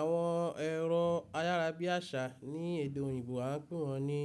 Àwọn ẹ̀rọ ayárábiàṣá ní èdè òyìnbó a ń pè wọ́n ní